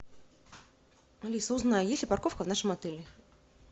алиса узнай есть ли парковка в нашем отеле